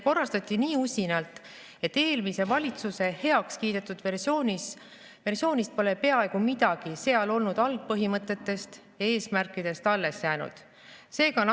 Korrastati nii usinalt, et eelmise valitsuse heakskiidetud versioonist, seal olnud algpõhimõtetest ja eesmärkidest pole peaaegu midagi alles jäänud.